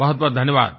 बहुतबहुत धन्यवाद